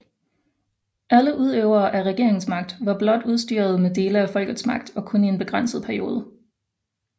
Alle udøvere af regeringsmagt var blot udstyret med dele af folkets magt og kun i en begrænset periode